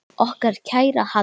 Okkar kæra Hadda.